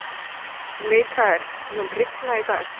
Mikael, mun rigna í dag?